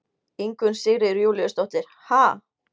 Ingunn Sigríður Júlíusdóttir: Ha?